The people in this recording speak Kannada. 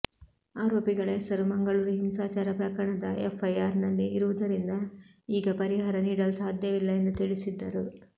ಆರೋಪಿಗಳ ಹೆಸರು ಮಂಗಳೂರು ಹಿಂಸಾಚಾರ ಪ್ರಕರಣದ ಎಫ್ಐಆರ್ನಲ್ಲಿ ಇರುವುದರಿಂದ ಈಗ ಪರಿಹಾರ ನೀಡಲು ಸಾಧ್ಯವಿಲ್ಲ ಎಂದು ತಿಳಿಸಿದ್ದರು